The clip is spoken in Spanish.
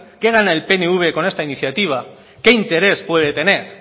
qué gana el pnv con esta iniciativa qué interés puede tener